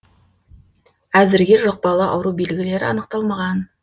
әзірге жұқпалы ауру белгілері анықталмаған